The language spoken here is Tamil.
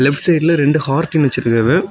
லெப்ட் சைடுல இல்ல ரெண்டு ஹார்டின் வச்சிருக்காங்க.